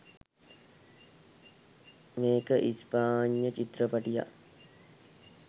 මේක ස්පාඤ්ඤ චිත්‍රපටියක්.